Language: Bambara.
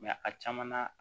a caman na